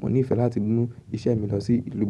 Mo níìfẹ̀ láti mú iṣẹ́ mi lọ sí ìlú mi.